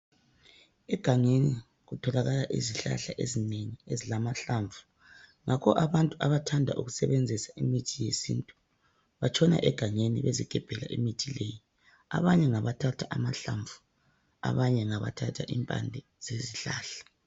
Egangeni kutholakala izihlahla ezinengi ezilamahlamvu. Ngakho abantu abathanda ukusebenzisa imithi yesintu batshona egangeni bezigebhela imithi leyi abanye ngabathatha amahlamvu. abanye ngabathatha impande zezihlahla.